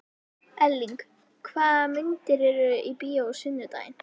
Erling, hvaða myndir eru í bíó á sunnudaginn?